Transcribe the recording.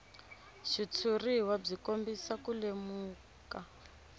xitshuriwa byi kombisa ku lemuka